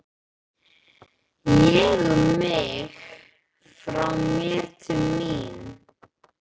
Ég, um mig, frá mér, til mín.